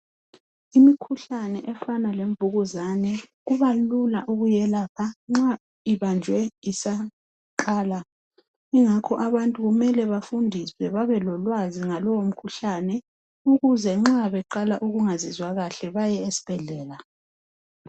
Imikhuhlane efana lenvukuzane kubalula ukuyelapha uma ibanjwe isaqala. Abantu kumele bafundiswe babelolwazi ngalowo mkhuhlane ukuze nxa beqala ukungazizwa kahle baye ezibhedlela.